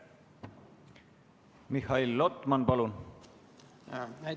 Mihhail Lotman, palun!